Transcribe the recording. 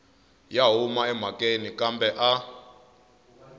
ya huma emhakeni kambe a